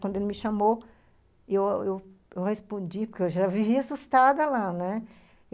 Quando ele me chamou, eu respondi, porque eu já vivia assustada lá, né.